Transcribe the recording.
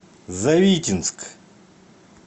завитинск